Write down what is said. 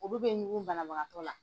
Olu bɛ ɲugu banabagatɔ la.